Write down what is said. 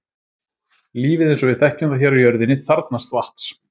Lífið eins og við þekkjum það hér á jörðinni þarfnast vatns.